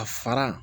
A fara